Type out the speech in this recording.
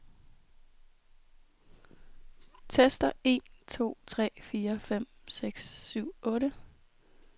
Tester en to tre fire fem seks syv otte.